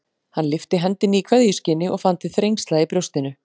Hann lyfti hendinni í kveðjuskyni og fann til þrengsla í brjóstinu.